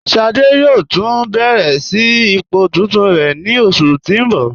Ṣádé yóò tun bẹ̀rẹ̀ sí ipò tuntun rẹ ni oṣù tí n bọ.